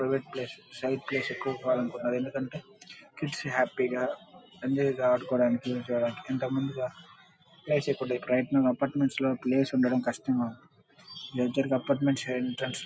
Private place self place హ్యాపీగా పిల్లలు ఆదుకోవడానికి ఇప్పుడు అపార్ట్మెంట్స్ లో ప్లేస్ ఉండడం కష్టం. Apartments entrance --